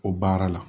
O baara la